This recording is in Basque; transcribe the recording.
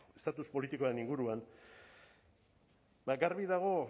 estatus politikoaren inguruan bada garbi dago